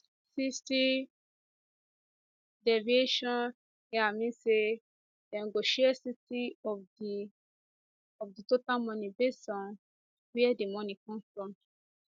60 derivation hia mean say dem go share 60 of di of di total money based on wia di money come from